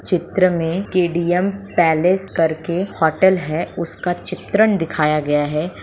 चित्र में K D M. Palace कर के होटल है उसका चित्रण दिखाया गया है।